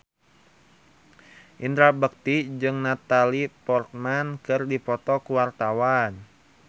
Indra Bekti jeung Natalie Portman keur dipoto ku wartawan